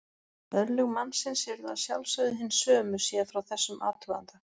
Örlög mannsins yrðu að sjálfsögðu hin sömu séð frá þessum athuganda.